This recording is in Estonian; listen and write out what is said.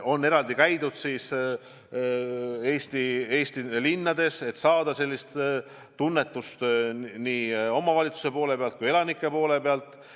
On eraldi käidud Eesti linnades, et saada tunnetust nii omavalitsuste poole pealt kui ka elanike poole pealt.